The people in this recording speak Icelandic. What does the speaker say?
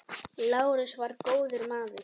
Lárus var góður maður.